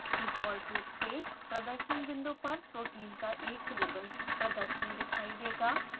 default रूप से प्रदर्शन विंडो पर protein का एक रिबन प्रदर्शन दिखाई देगा